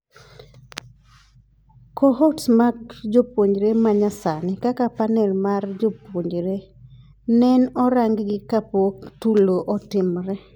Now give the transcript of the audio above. Cohorts mar jopuonjre manyasani kaka panel mar jopuonjre nen orang gi kapok tulo otimore.